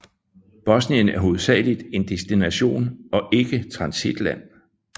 Bosnien er hovedsagligt en destination og ikke transitland